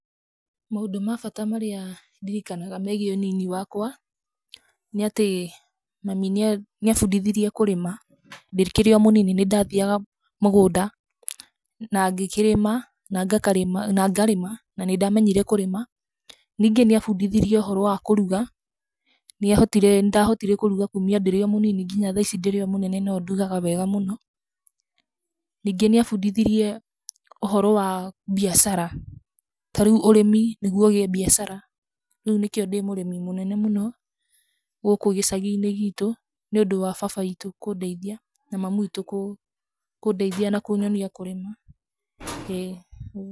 Mũndũ ma bata marĩa ndirikanaga megiĩ ũnini wakwa, nĩ atĩ mami nĩ abundithirie kũrĩma, ndikĩrĩ o mũnini nĩndathiaga mũgũnda na ngarĩma na nĩndamenyire kũrĩma. Ningĩ ni abundithirie ũhoro wa kũruga, nĩ ndahotire kũruga kũmia ndĩrĩ o mũnini nginya tha ici ndĩrĩ o mũnene no ndugaga wega mũno. Ningĩ nĩ abundithirie ũhoro wa mbiacara ta rĩu ũrĩmi nĩgũo ũgĩe mbiacara rĩu nĩkĩo ndĩ mũrĩmi mũnene mũno gũkũ gĩcagi-inĩ gitũ, nĩ ũndũ wa baba witũ kũndeithia na mami witũ kũndeithia na kũnyonia kũrĩma, ĩĩ ũguo.